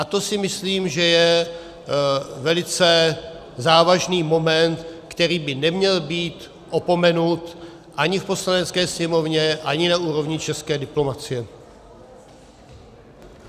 A to si myslím, že je velice závažný moment, který by neměl být opomenut ani v Poslanecké sněmovně, ani na úrovni české diplomacie.